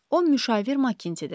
O müşavir Makintidir.